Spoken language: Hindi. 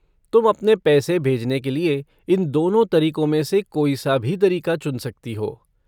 तुम अपने पैसे भेजने के लिए इन दोनों तरीको में से कोई सा भी तरीका चुन सकती हो।